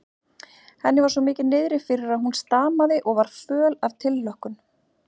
Henni var svo mikið niðri fyrir að hún stamaði og var föl af tilhlökkun.